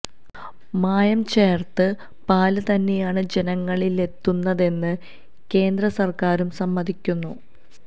മായം ചേർത്ത് പാല് തന്നെയാണ് ജനങ്ങളിലെത്തുന്നതെന്ന് കേന്ദ്ര സർക്കാരും സമ്മതിക്കുന്നു